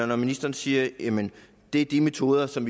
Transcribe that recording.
når ministeren siger at det er de metoder som